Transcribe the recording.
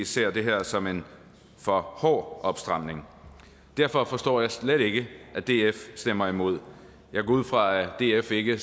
ser det her som en for hård opstramning derfor forstår jeg slet ikke at df stemmer imod jeg går ud fra at df ikke